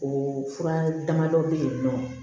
O fura damadɔ bɛ yen nɔ